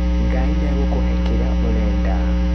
Ngai nĩegũkũhe kĩrĩa ũrenda.